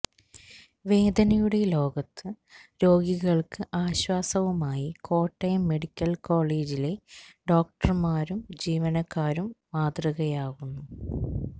വേദനയുടെ ലോകത്തു രോഗികള്ക്ക് ആശ്വാസവുമായി കോട്ടയം മെഡിക്കല് കോളേജിലെ ഡോക്ടര്മാരും ജീവനക്കാരും മാതൃകയാകുന്നു